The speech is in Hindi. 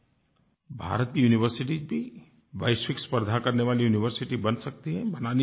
भारत की यूनिवर्सिटीज भी वैश्विक स्पर्धा करने वाली यूनिवर्सिटी बन सकती है बनानी भी चाहिए